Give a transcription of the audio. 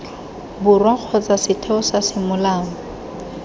borwa kgotsa setheo sa semolao